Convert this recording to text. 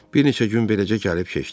Bir neçə gün beləcə gəlib keçdi.